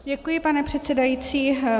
Děkuji, pane předsedající.